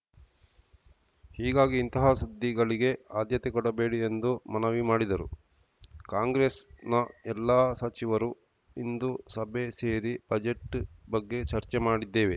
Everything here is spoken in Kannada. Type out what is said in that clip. ಹೀಗಾಗಿ ಇಂತಹ ಸುದ್ದಿಗಳಿಗೆ ಆದ್ಯತೆ ಕೊಡಬೇಡಿ ಎಂದು ಮನವಿ ಮಾಡಿದರು ಕಾಂಗ್ರೆಸ್‌ನ ಎಲ್ಲಾ ಸಚಿವರು ಇಂದು ಸಭೆ ಸೇರಿ ಬಜೆಟ್‌ ಬಗ್ಗೆ ಚರ್ಚೆ ಮಾಡಿದ್ದೇವೆ